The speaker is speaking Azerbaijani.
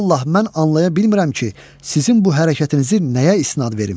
Vallah mən anlaya bilmirəm ki, sizin bu hərəkətinizi nəyə isnad verim?